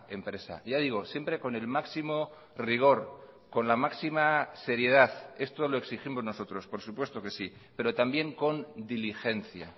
empresa ya digo siempre con el máximo rigor con la máxima seriedad esto lo exigimos nosotros por supuesto que sí pero también con diligencia